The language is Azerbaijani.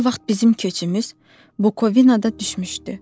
O vaxt bizim köçümüz Bukovinada düşmüşdü.